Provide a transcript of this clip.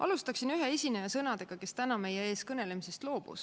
Alustaksin ühe esineja sõnadega, kes täna meie ees kõnelemisest loobus.